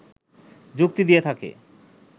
যুক্তি দিয়ে থাকে